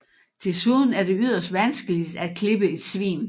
Desuden er det yderst vanskeligt at klippe et svin